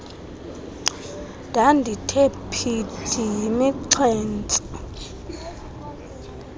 ndandithe phithi yimixhentso